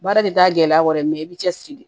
Baara tɛ taa gɛlɛya kɔ dɛ i bɛ cɛsiri de